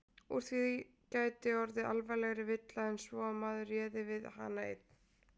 Úr því gæti orðið alvarlegri villa en svo að maður réði við hana einn.